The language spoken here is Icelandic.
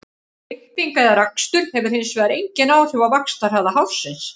Klipping eða rakstur hefur hins vegar engin áhrif á vaxtarhraða hársins.